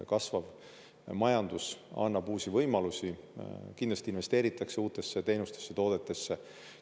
Kasvav majandus annab uusi võimalusi, kindlasti investeeritakse uutesse teenustesse, toodetesse.